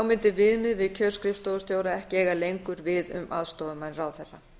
mundi viðmiðið við kjör skrifstofustjóra ekki eiga lengur við um aðstoðarmenn ráðherra